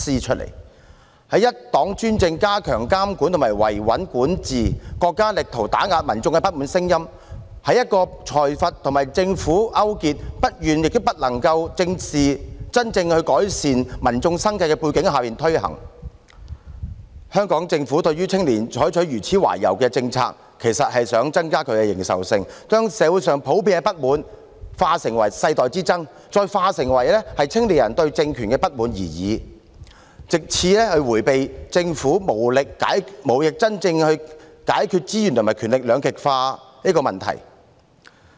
在一黨專政、加強監管和維穩管治，國家力圖打壓民眾的不滿聲音；在一個財閥和政府勾結，不願也不能真正改善民眾生計的背景下推行，香港政府對青年採取如此懷柔的政策，其實是想增加其認受性，將社會上普遍的不滿淡化成世代之爭，再淡化成只是青年人對政權的不滿而已，藉此迴避政府無力真正解決資源和權力兩極化的問題。